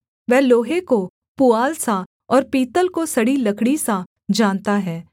वह लोहे को पुआल सा और पीतल को सड़ी लकड़ी सा जानता है